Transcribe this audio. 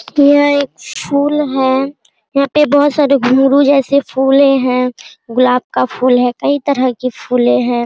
यह एक फूल है | यहाँ पे बहुत सारे घुंघरू जैसे फूलें हैं | गुलाब का फूल है कई तरह के फूलें हैं |